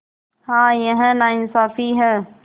हाँ यह नाइंसाफ़ी है